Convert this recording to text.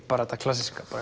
bara þetta klassíska